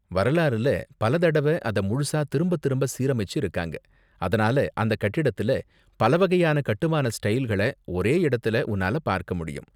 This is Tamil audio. வரலாறுல பல தடவ அத முழுசா திரும்ப திரும்ப சீரமைச்சு இருக்காங்க, அதனால அந்த கட்டிடத்துல பல வகையான கட்டுமான ஸ்டைல்கள ஒரே இடத்துல உன்னால பார்க்க முடியும்.